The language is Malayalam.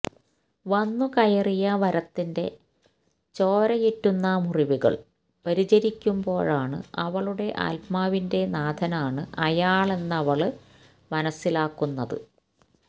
വന്ന് കയറിയ വരത്തന്റെ ചോരയിറ്റുന്ന മുറിവുകള് പരിചരിക്കുമ്പോഴാണ് അവളുടെ ആത്മാവിന്റെ നാഥനാണ് അയാളെന്നവള് മനസ്സിലാക്കുന്നത്